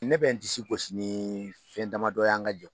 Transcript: Ne bɛ n disi gosi ni fɛn damadɔ ye an ka jɛkulu